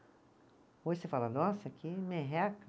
Hoje você fala, nossa, que merreca.